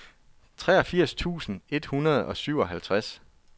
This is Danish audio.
treogfirs tusind et hundrede og syvoghalvtreds